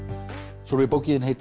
Sólveig bókin þín heitir